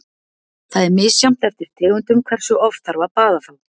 Það er misjafnt eftir tegundum hversu oft þarf að baða þá.